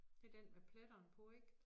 Det den med pletterne på ik